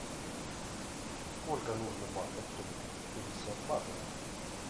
сколько нужно батов чтобы купить пятьдесят батов